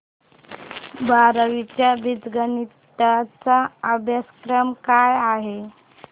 बारावी चा बीजगणिता चा अभ्यासक्रम काय आहे